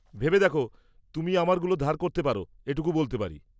ভেবে দেখো! তুমি আমারগুলো ধার করতে পার এটুকু বলতে পারি।